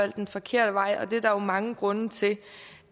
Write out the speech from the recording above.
den forkerte vej og det er der jo mange grunde til det